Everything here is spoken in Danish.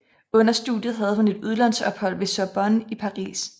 Under studiet havde hun et udlandsophold ved Sorbonne i Paris